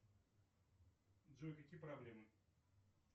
джой какие проблемы